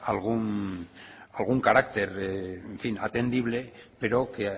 algún carácter en fin atendible pero que